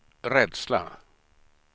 rädsla